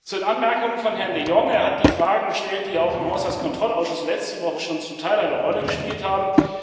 Zu den Anmerkungen von Herrn de Jong Er hat die Fragen gestellt, die ja auch im Haushaltskontrollausschuss letzte Woche schon zum Teil eine Rolle gespielt haben.